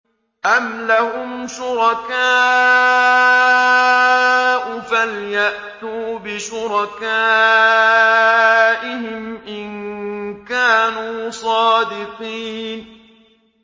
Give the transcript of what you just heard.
أَمْ لَهُمْ شُرَكَاءُ فَلْيَأْتُوا بِشُرَكَائِهِمْ إِن كَانُوا صَادِقِينَ